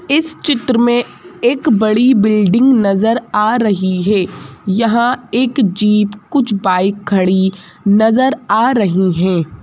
इस चित्र में एक बड़ी बिल्डिंग नजर आ रही है यहां एक जीप कुछ बाइक खड़ी नजर आ रही हैं।